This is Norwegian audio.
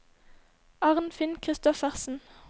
Arnfinn Kristoffersen